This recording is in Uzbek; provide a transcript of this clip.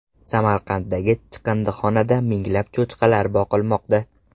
Samarqanddagi chiqindixonada minglab cho‘chqalar boqilmoqda.